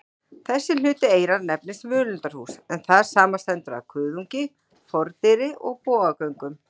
Þessi hluti eyrans nefnist völundarhús, en það samanstendur af kuðungi, fordyri og bogagöngum.